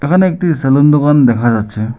এখানে একটি সেলুন দোকান দেখা যাচ্ছে।